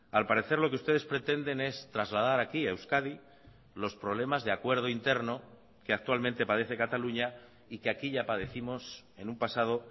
al parecer lo que ustedes pretenden es trasladar aquí a euskadi los problemas de acuerdo interno que actualmente parece cataluña y que aquí ya padécimos en un pasado